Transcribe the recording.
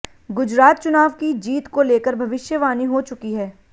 गुजरात चुनाव की जीत को लेकर भविष्यवाणी हो चुकी है